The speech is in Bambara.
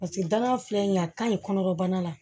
Paseke danga filɛ nin ye a ka ɲi kɔnɔbana la